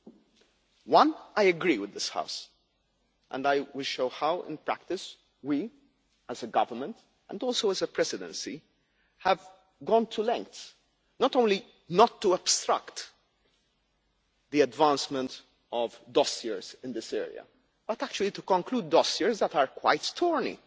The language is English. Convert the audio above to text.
On one I agree with this House, and I will show how, in practice, we as a government and also as a presidency have gone to lengths not only not to obstruct the advancement of dossiers in this area but actually to conclude dossiers that are quite thorny